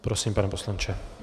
Prosím, pane poslanče.